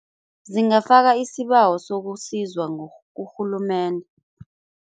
Zingafaka isibawo sokusizwa kurhulumende.